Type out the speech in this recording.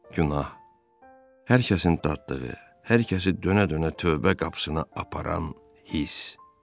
Günah hər kəsin dadlığı, hər kəsi dönə-dönə tövbə qapısına aparan hiss.